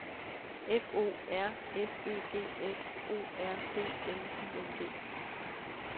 F O R S Ø G S O R D N I N G